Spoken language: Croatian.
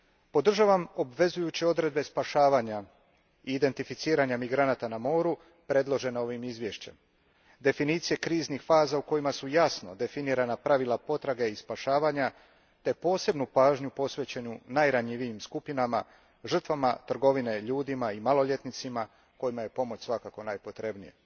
Podržavam obvezujuće odredbe spašavanja i identificiranja migranata na moru predložene ovim izvješćem, definicije kriznih faza u kojima su jasno definirana pravila potrage i spašavanja te posebnu pažnju posvećenu najranjivijim skupinama, žrtvama trgovine ljudima i maloljetnicima kojima je pomoć svakako najpotrebnija.